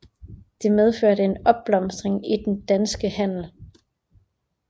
Det medførte en opblomstring i den danske handel